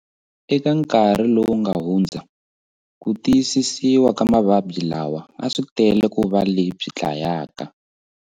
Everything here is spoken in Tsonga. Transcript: Eka nkarhi lowu nga hundza, ku tiyisisiwa ka mavabyi lawa a swi tele ku va lebyi dlayaka.